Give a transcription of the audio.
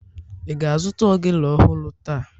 Ị ga-azụta ogene ọhụrụ taa?